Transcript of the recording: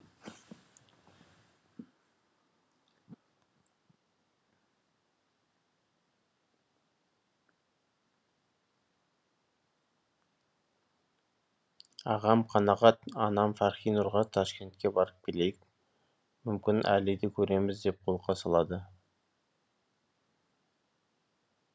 ағам қанағат анам фархинұрға ташкентке барып келейік мүмкін әлиді көрерміз деп қолқа салады